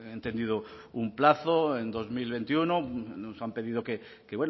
entendido un plazo en dos mil veintiuno nos han pedido que